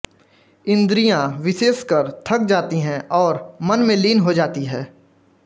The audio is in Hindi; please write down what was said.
इंद्रियॉ विशेषकर थक जाती हैं और मन में लीन हो जाती है